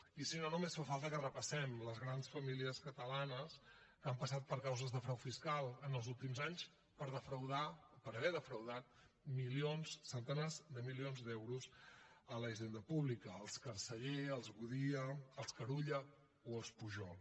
i si no només fa falta que repassem les grans famílies catalanes que han passat per causes de frau fiscal en els últims anys per haver defraudat milions centenars de milions d’euros a la hisenda pública els carceller els godia els carulla o els pujol